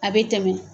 A bɛ tɛmɛ